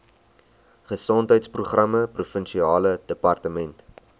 gesondheidsprogramme provinsiale departement